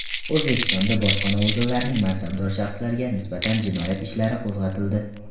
O‘zbekistonda bojxona organlarining mansabdor shaxslariga nisbatan jinoyat ishlari qo‘zg‘atildi.